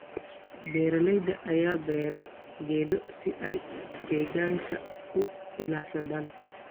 Beeralayda ayaa beera geedo si ay deegaanka u ilaashadaan.